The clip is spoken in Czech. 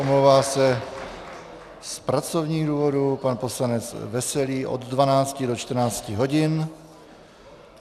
Omlouvá se z pracovních důvodů pan poslanec Veselý od 12 do 14 hodin.